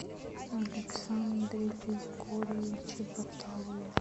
александре григорьевиче баталове